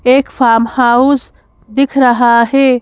एक farm house दिख रहा है।